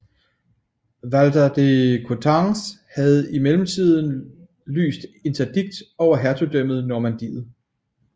Walter de Coutances havde i mellemtiden lyst Interdikt over Hertugdømmet Normandiet